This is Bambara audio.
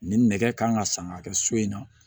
Nin nɛgɛ kan ka sanga kɛ so in na